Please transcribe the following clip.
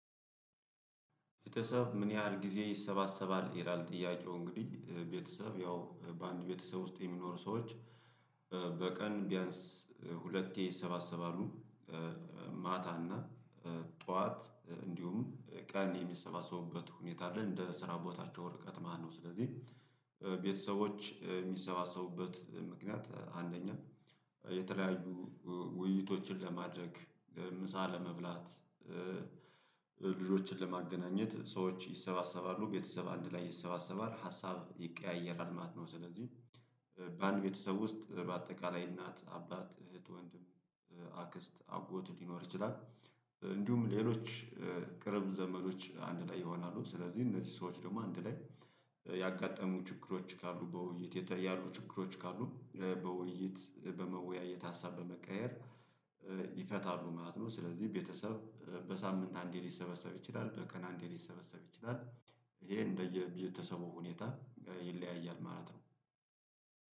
ቤተሰብ ምን ያህል ጊዜ ይሰባሰባል? ይላል ጥያቄው እንግዲህ ቤተሰብ ያው በአንድ ቤተሰብ ውስጥ የሚኖሩ ሰዎች በቀን ቢያንስ ሁለቴ ይሰባሰባሉ። ማታ እና ጠዋት እንዲሁም ቀን የሚሰባሰቡበት ሁኔታ አለ እንደ ስራ ቦታቸው ወርቀት ማለት ነው። ስለዚህ ቤተሰቦች የሚሰባሰቡበት ምክንያት አንደኛ የተለያዩ ውይይቶችን ለማድረግ ምሳ ለመብላት ልጆችን ለማገናኘት ሰዎች ይሰባሰባሉ። ቤተሰብ አንድ ላይ ይሰባሰባል ሀሳብ ይቀያየራል ማለት ነው። ስለዚህ በአንድ ቤተሰብ ውስጥ በአጠቃላይ እናት አባት እህት ወንድም አክስት አጎት ሊኖር ይችላል። እንዲሁም ሌሎች ቅርብ ዘመዶች አንድ ላይ ይሆናሉ። ስለዚህ እነዚህ ሰዎች ደግሞ አንድ ላይ ያጋጠሙ ችግሮች ካሉ በውይይት ያሉ ችግሮች ካሉ በውይይት በመወያየት ሀሳብ በመቀየር ይፈታሉ ማለት ነው። ስለዚህ ቤተሰብ በሳምንት አንዴ ሊሰበሰብ ይችላል በቀን አንዴ ሊሰበሰብ ይችላል ይሄ እንደየ ቤተሰቡ ሁኔታ ይለያያል ማለት ነው